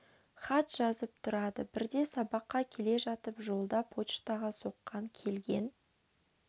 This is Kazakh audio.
хат жазып тұрады бірде сабаққа келе жатып жолда поштаға соққан келген